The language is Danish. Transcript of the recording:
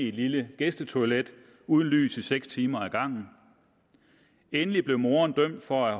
et lille gæstetoilet uden lys i seks timer ad gangen endelig blev moderen dømt for at